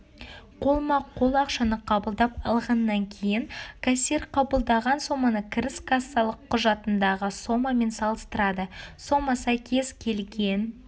қолма-қол ақшаны қабылдап алғаннан кейн кассир қабылдаған соманы кіріс кассалық құжатындағы сомамен салыстырады сома сәйкес келген